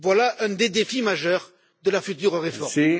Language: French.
Voilà un des défis majeurs de la future réforme.